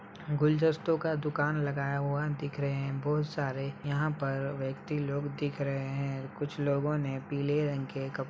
गुलजस्तों का दुकान लगाया हुआ दिख रहे हैं बहोत सारे यहाँ पर व्यक्ति लोग दिख रहे हैं। कुछ लोगों ने पीले रंग के कप --